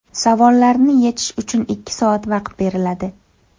Savollarni yechish uchun ikki soat vaqt beriladi.